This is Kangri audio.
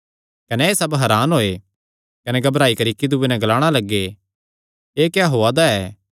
कने एह़ सब हरान होये कने घबराई करी इक्की दूये नैं ग्लाणा लग्गे एह़ क्या होआ दा ऐ